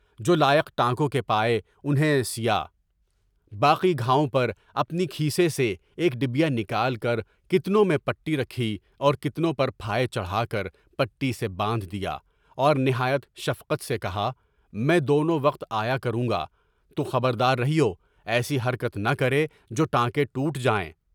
جولائیک ٹائکوں کے پائے انہیں سیا، باقی گھاؤوں پر اپنی گھیسے سے ایک ڈبیا نکال کر کتنوں میں پٹی رکھی، اور کتنوں پر پھائے چڑھا کر پٹی سے باندھ دیا، اور نہایت شفقت سے کہا، میں دونوں وقت آیا کروں گا، تو خبر دار رہیو، ایسی حرکت نہ کرے جو ٹائلے ٹوٹ جائیں۔